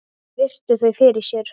Virti þau fyrir sér.